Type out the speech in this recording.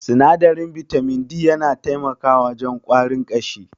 Sinadarin bitamin D yana taimakawa wajen ƙwarin ƙashi.